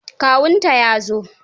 Kawunta ya zo.